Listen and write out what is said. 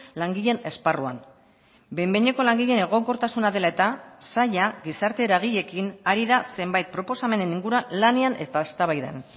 langileen esparruan behin behineko langileen egonkortasuna dela eta saila gizarte eragileekin ari da zenbait proposamenen inguruan lanean eta eztabaidan